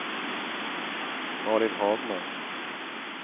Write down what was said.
Malin Hagman